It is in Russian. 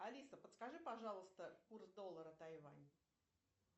алиса подскажи пожалуйста курс доллара тайвань